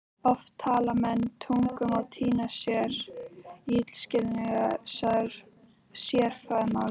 Oft tala menn tungum og týna sér í illskiljanlegu sérfræðimáli.